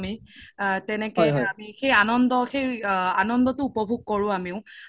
আ তেনেকে আমি সেই আনান্দতো উপভুগ কোৰো আমিও